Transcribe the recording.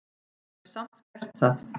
Hef samt gert það.